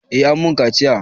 Eh an mun kaciya